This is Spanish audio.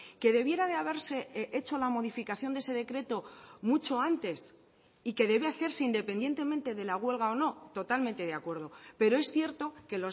que debiera de haberse hecho la modificación de ese decreto mucho antes y que debe hacerse independientemente de la huelga o no totalmente de acuerdo pero es cierto que